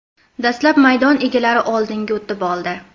Dastlab maydon egalari oldinga o‘tib oldi.